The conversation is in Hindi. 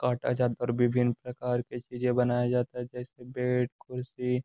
काटा जात पर विभिन्न प्रकार के चीजें बनाया जाता है जैसे बेड कुर्सी --